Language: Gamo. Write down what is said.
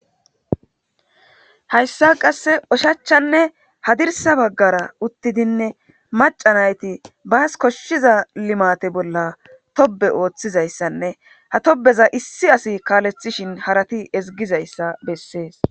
Hayssa qasse ushachchanne hadirissa bagara uttidine macca naati bas koshshiza limaate bolla tobbe oothizayssanne ha tobbeza issi asi kaaleththishin harati ezggizayssa besees.